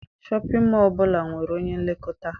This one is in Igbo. Shọpịn mọọ ọbụla nwere onye nlekọta.